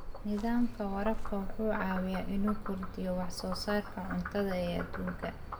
Nidaamka waraabka wuxuu caawiyaa inuu kordhiyo wax soo saarka cuntada ee adduunka.